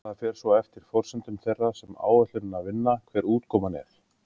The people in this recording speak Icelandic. það fer svo eftir forsendum þeirra sem áætlunina vinna hver útkoman er